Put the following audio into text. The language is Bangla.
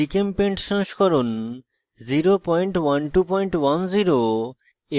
gchempaint সংস্করণ 01210 এবং